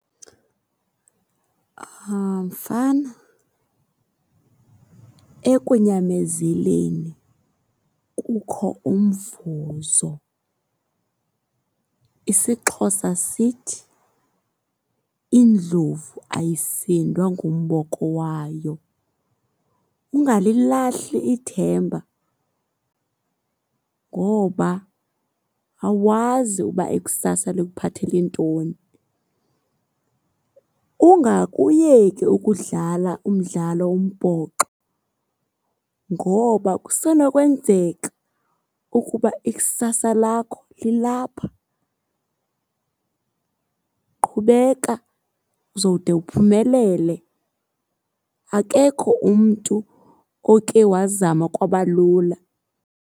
Mfana, ekunyamezeleni kukho umvuzo. IsiXhosa sithi indlovu ayisindwa ngumboko wayo. Ungalilahli ithemba, ngoba awazi uba ikusasa likuphathele ntoni. Ungakuyeki ukudlala umdlalo wombhoxo ngoba kusenokwenzeka ukuba ikusasa lakho lilapha. Qhubeka, uzowude uphumelele. Akekho umntu oke wazama kwaba lula.